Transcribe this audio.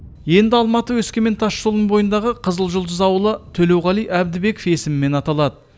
енді алматы өскемен тасжолының бойындағы қызылжұлдыз ауылы төлеуғали әбдібеков есімімен аталады